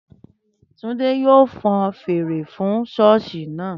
Túndé yóò fọn fèrè fún ṣọ́ọ̀sì náà